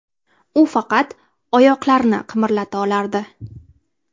U faqat oyoqlarini qimirlata olardi.